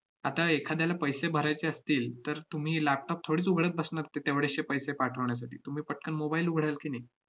आता एखाद्याला पैसे भरायचे असतील, तर तुम्ही laptop थोडीच उघडत बसणार ते~ तेवढेशे पैसे पाठवण्यासाठी. तुम्ही पटकन mobile उघडाल की नाही?